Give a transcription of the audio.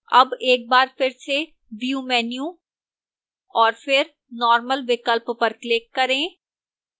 अब एकबार फिर से view menu और फिर normal विकल्प पर click करें